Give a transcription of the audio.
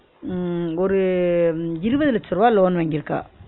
உம் ஒரு இருவது லட்ச ருவா loan வாங்கியிருக்கா